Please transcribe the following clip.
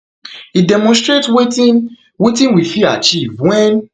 e demonstrate wetin wetin we fit achieve wen